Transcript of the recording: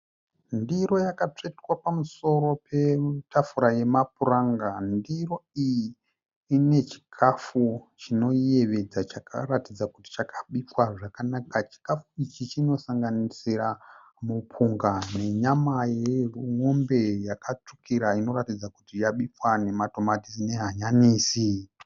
Ndiro yakatsvetwa pamusoro petafura yemapuranga. Ndiro iyi ine chikafu chinoyevedza chakaratidza kuti chakabikwa zvakanaka. Chikafu ichi chinosanganisira mupunga nenyama yemombe yakatsvukira inoratidza kuti yabikwa nematomatisi nehanyanisi.